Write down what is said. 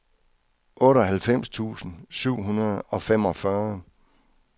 otteoghalvfems tusind syv hundrede og femogfyrre